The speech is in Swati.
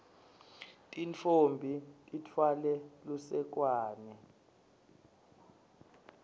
tintfombi titfwale lusekwane